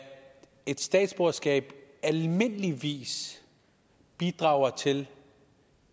et statsborgerskab almindeligvis bidrager til